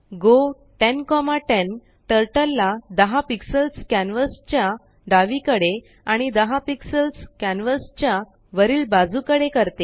गो 1010टर्टलला10पिक्सल्स कॅनवासच्याडावीकडे आणि 10पिक्सल्सकॅनवासच्यावरिल बाजूकडेकरते